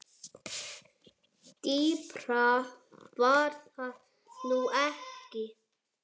Dýpra var það nú ekki.